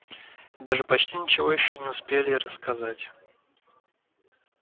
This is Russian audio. и даже почти ничего ещё не успели рассказать